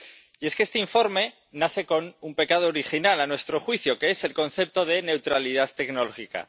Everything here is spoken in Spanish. Y es que este informe nace con un pecado original, a nuestro juicio, que es el concepto de neutralidad tecnológica.